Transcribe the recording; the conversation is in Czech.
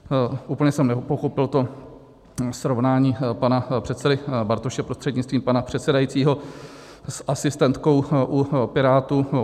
Úplně jsem nepochopil to srovnání pana předsedy Bartoše prostřednictvím pana předsedajícího s asistentkou u Pirátů.